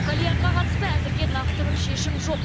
кальянға қатысты әзірге нақты бір шешім жоқ